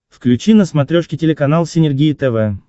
включи на смотрешке телеканал синергия тв